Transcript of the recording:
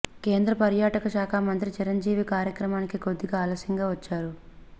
కేంద్ర పర్యాటక శాఖ మంత్రి చిరంజీవి కార్యక్రమానికి కొద్దిగా ఆలస్యంగా వచ్చారు